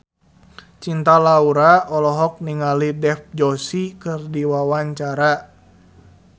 Cinta Laura olohok ningali Dev Joshi keur diwawancara